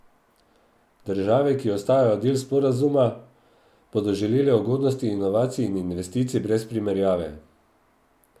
Države, ki ostajajo del sporazuma, bodo žele ugodnosti inovacij in investicij brez primerjave.